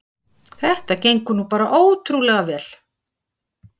Þetta gengur nú bara ótrúlega vel